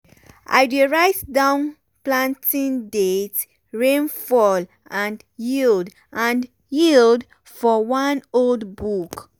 i dey write down planting date rainfall and yield and yield for one old book.